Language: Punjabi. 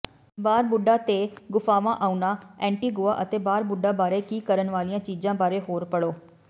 ਬਾਰਬੁਡਾ ਤੇ ਗੁਫਾਵਾਂ ਆਉਣਾ ਐਂਟੀਗੁਆ ਅਤੇ ਬਾਰਬੁਡਾ ਬਾਰੇ ਕੀ ਕਰਨ ਵਾਲੀਆਂ ਚੀਜ਼ਾਂ ਬਾਰੇ ਹੋਰ ਪੜ੍ਹੋ